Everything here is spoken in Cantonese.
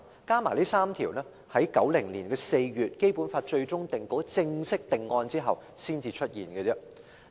《基本法》的最終定稿在1990年4月正式定案後，才有這3項罪行。